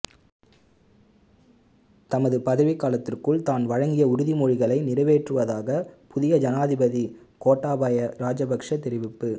தமது பதவி காலத்திற்குள் தான் வழங்கிய உறுதி மொழிகளை நிறைவேற்றுவதாக புதிய ஜனாதிபதி கோட்டாபய ராஜபக்ஷ தெரிவிப்பு